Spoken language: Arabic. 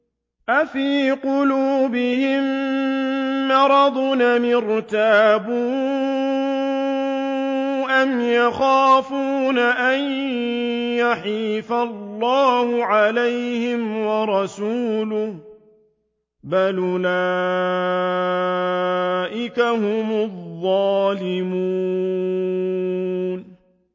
أَفِي قُلُوبِهِم مَّرَضٌ أَمِ ارْتَابُوا أَمْ يَخَافُونَ أَن يَحِيفَ اللَّهُ عَلَيْهِمْ وَرَسُولُهُ ۚ بَلْ أُولَٰئِكَ هُمُ الظَّالِمُونَ